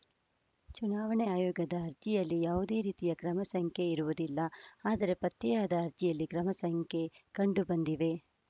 ಚುನಾವಣಾ ಆಯೋಗದ ಅರ್ಜಿಯಲ್ಲಿ ಯಾವುದೇ ರೀತಿಯ ಕ್ರಮ ಸಂಖ್ಯೆ ಇರುವುದಿಲ್ಲ ಆದರೆ ಪತ್ತೆಯಾದ ಅರ್ಜಿಯಲ್ಲಿ ಕ್ರಮ ಸಂಖ್ಯೆ ಕಂಡುಬಂದಿವೆ